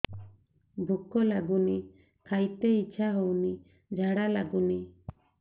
ଭୁକ ଲାଗୁନି ଖାଇତେ ଇଛା ହଉନି ଝାଡ଼ା ଲାଗୁନି